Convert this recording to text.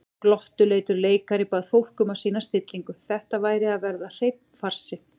Glottuleitur leikari bað fólk um að sýna stillingu, þetta væri að verða hreinn farsi.